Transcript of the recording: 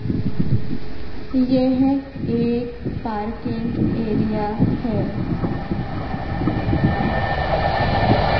यह एक parking area हैं।